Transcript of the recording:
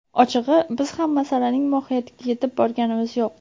Ochig‘i, biz ham masalaning mohiyatiga yetib borganimiz yo‘q.